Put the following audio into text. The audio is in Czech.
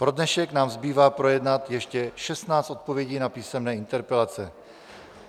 Pro dnešek nám zbývá projednat ještě 16 odpovědí na písemné interpelace.